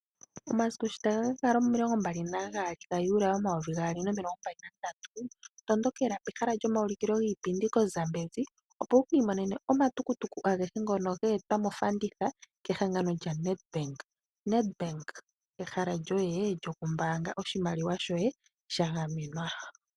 Omasiku sho taga ka kala omilongo mbali nagaali ga juli omvo omayovi gaali nomilongo mbali nandatu. Tondokela pehala lyomawuliko giipindi po Zambezi. Opo wukiimonene omatukutuku agehe ngono geetwa mofanditha kehangano lya Net Bank. Net Bank ehala lyoye lyoku mbaanga oshimaliwa shoye lya ganenwa.